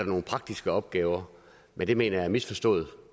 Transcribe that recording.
nogle praktiske opgaver men det mener jeg er misforstået